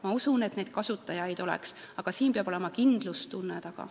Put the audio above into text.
Ma usun, et kasutajaid oleks, aga siin peab olema kindlustunne taga.